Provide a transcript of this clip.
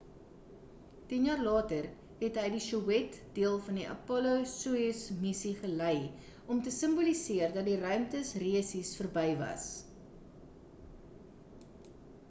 tien jaar later, het hy die sowjet deel van die apollo-soyuz missie gelei om te simboliseer dat die ruimte resies verby was